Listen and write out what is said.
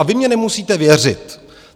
A vy mně nemusíte věřit.